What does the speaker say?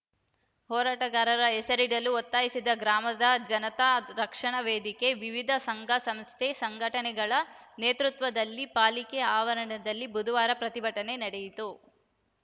ಹೋರಾಟಗಾರರ ಹೆಸರಿಡಲು ಒತ್ತಾಯಿಸಿ ಗ್ರಾಮದ ಜನತಾ ರಕ್ಷಣಾ ವೇದಿಕೆ ವಿವಿಧ ಸಂಘಸಂಸ್ಥೆ ಸಂಘಟನೆಗಳ ನೇತೃತ್ವದಲ್ಲಿ ಪಾಲಿಕೆ ಆವರಣದಲ್ಲಿ ಬುಧವಾರ ಪ್ರತಿಭಟನೆ ನಡೆಯಿತು